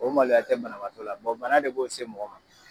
O maloya tɛ banabaatɔ la, bɔn bana de b'o se mɔgɔ ma!